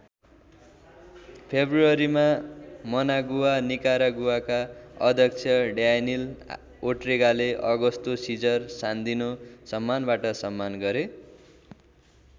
फेब्रुअरीमा Managua निकारागुआका अध्यक्ष Daniel ओर्टेगाले अगस्तो सिजर सान्दिनो सम्मानवाट सम्मान गरे।